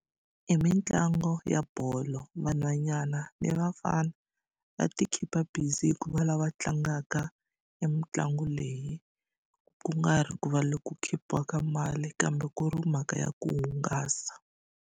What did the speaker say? I mitlangu ya bolo vanhwanyana ni vafana va ti khipha busy hikuva lava va tlangaka e mitlangu leyi kungari ku va loku khipiwaka mali kambe ku ri mhaka ya ku hungasa.